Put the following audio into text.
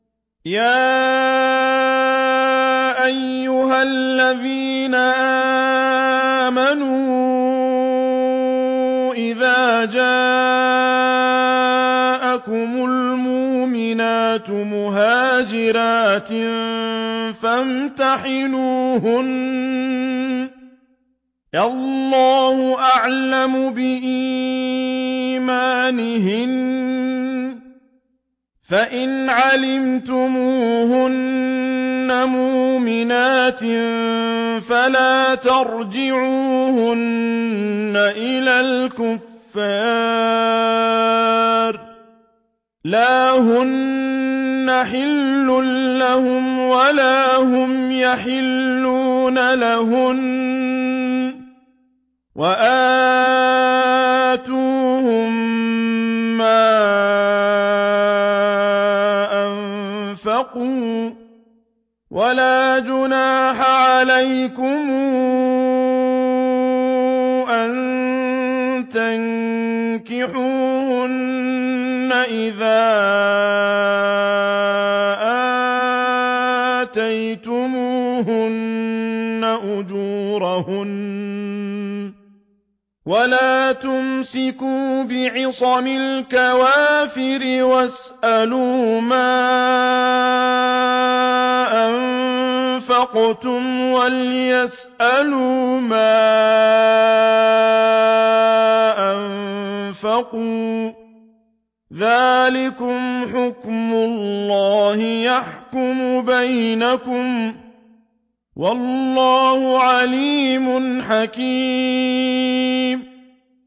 يَا أَيُّهَا الَّذِينَ آمَنُوا إِذَا جَاءَكُمُ الْمُؤْمِنَاتُ مُهَاجِرَاتٍ فَامْتَحِنُوهُنَّ ۖ اللَّهُ أَعْلَمُ بِإِيمَانِهِنَّ ۖ فَإِنْ عَلِمْتُمُوهُنَّ مُؤْمِنَاتٍ فَلَا تَرْجِعُوهُنَّ إِلَى الْكُفَّارِ ۖ لَا هُنَّ حِلٌّ لَّهُمْ وَلَا هُمْ يَحِلُّونَ لَهُنَّ ۖ وَآتُوهُم مَّا أَنفَقُوا ۚ وَلَا جُنَاحَ عَلَيْكُمْ أَن تَنكِحُوهُنَّ إِذَا آتَيْتُمُوهُنَّ أُجُورَهُنَّ ۚ وَلَا تُمْسِكُوا بِعِصَمِ الْكَوَافِرِ وَاسْأَلُوا مَا أَنفَقْتُمْ وَلْيَسْأَلُوا مَا أَنفَقُوا ۚ ذَٰلِكُمْ حُكْمُ اللَّهِ ۖ يَحْكُمُ بَيْنَكُمْ ۚ وَاللَّهُ عَلِيمٌ حَكِيمٌ